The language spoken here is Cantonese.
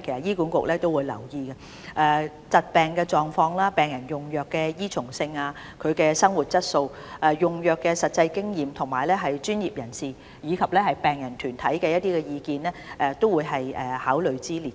其實醫管局亦會留意這些轉變，以及疾病的狀況、病人用藥的依從性、病人生活質素、用藥的實際經驗，以及專業人士和病人團體的意見均會是考慮之列。